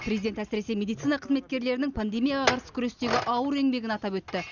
президент әсіресе медицина қызметкерлерінің пандемияға қарсы күрестегі ауыр еңбегін атап өтті